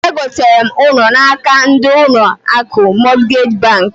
E gotara m ụlọ n'aka ndi ụlọ akụ Mọtgej bank.